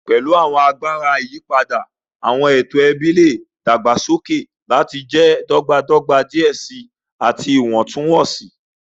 Pẹlu awọn agbara iyipada, awọn eto ẹbi le dagbasoke lati jẹ dọgbadọgba diẹ sii ati iwọntunwọnsi.